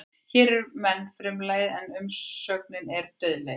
Hér er menn frumlagið en umsögnin er eru dauðlegir.